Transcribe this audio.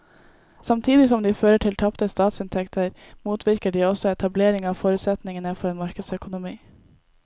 Samtidig som de fører til tapte statsinntekter motvirker de også etablering av forutsetningene for en markedsøkonomi.